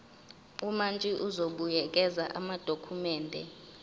umantshi uzobuyekeza amadokhumende